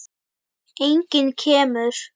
Enginn kemur.